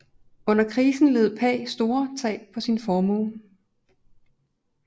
Under krisen led Pagh store tab på sin formue